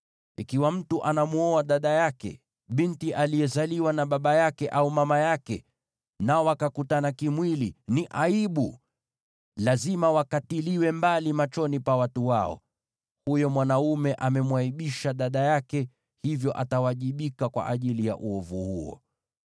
“ ‘Ikiwa mtu anamwoa dada yake, binti aliyezaliwa na baba yake au mama yake, nao wakakutana kimwili, ni aibu. Lazima wakatiliwe mbali machoni pa watu wao. Huyo mwanaume amemwaibisha dada yake, hivyo atawajibika kwa ajili ya uovu huo.